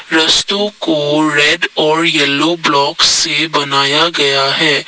रास्तों को रेड और येलो ब्लॉक से बनाया गया है ।